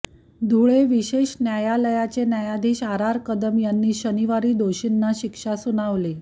धुळे विशेष न्यायालयाचे न्यायाधीश आर आर कदम यांनी शनिवारी दोषींना शिक्षा सुनावली